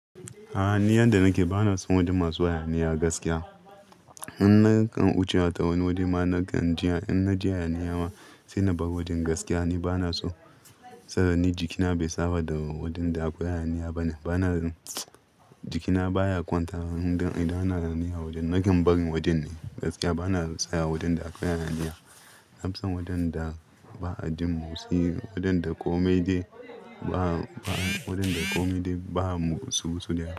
A'a ni yadda nake bana so wajen masu hayaniya gaskiya. In na kan wuce ta wani wajen ma na kan ji in na ji hayaniya ma sai na bar wajen gaskiya ni bana so. Saboda ni jikina bai saba da wajen da akwai hayaniya bane. Bana jikina baya kwanta idan ana hayaniya a wajen. Nakan barin wajen ne gaskiya bana son saya a wajen da akwai hayaniya. Na fi son wajen da ba a jin motsi, wajen da kome dai ba, wajen da kome dai ba motsi-motsi da ya.